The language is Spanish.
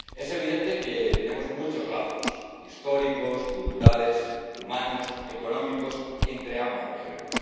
Es evidente que tenemos muchos lazos históricos, culturales, humanos, económicos con ambas regiones.